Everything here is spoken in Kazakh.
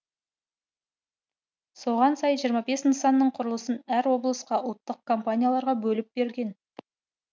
соған сай жиырма бес нысанның құрылысын әр облысқа ұлттық компанияларға бөліп берген